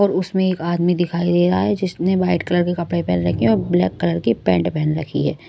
और उसमें एक आदमी दिखाई दे रहा है जिसने वाइट कलर के कपड़े पहन रखे हैं और ब्लैक कलर की पेंट पहन रखी है।